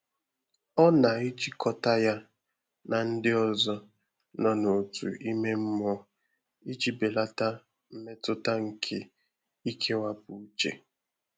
Ọ́ nà-èjíkọ́tà yá nà ndị́ ọ́zọ́ nọ́ n’òtù ímé mmụ́ọ́ ìjí bèlàtà mmétụ́tà nké íkéwàpụ́ úchè.